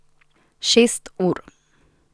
Šest ur.